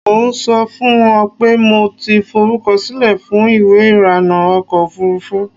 Mo ń sọ fún un pé mo ti forúkọsílẹ̀ fún ìwé irànà ọkọ̀ ofurufú.